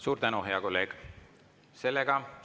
Suur tänu, hea kolleeg!